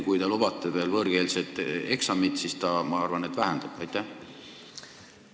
Kui te lubate veel võõrkeelset eksamit ka, siis ma arvan, et see seadus vähendab julgeolekut.